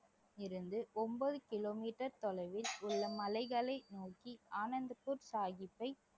இருந்து ஒன்பது கிலோமீட்டர் தொலைவில் உள்ள மலைகளை நோக்கி ஆனந்தப்பூர் சாஹிப்பை